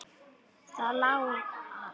Það lá að.